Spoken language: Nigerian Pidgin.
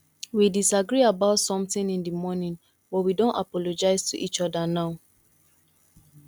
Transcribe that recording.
we disagree about something in the morning but we don apologize to each other now